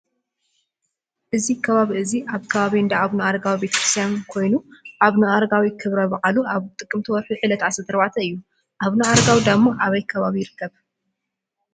እዚ ከባቢ እዚ ኣብ ከባቢ እንዳኣቡነኣረጋዊ ቤተክርስትያን ኮይኑ ኣቡነ-ኣረጋዊ ክብሪ በዓሉ ኣብ ጥቅምቲ ወርሒ ዕለት 14 እዩ። ኣቡነኣረጋዊ ዳሞ ኣበይ ከባቢ ይርከብ ?